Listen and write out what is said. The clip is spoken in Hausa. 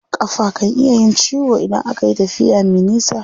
Ƙafa kan iya yin ciwo idan akayi tafiya me nisa.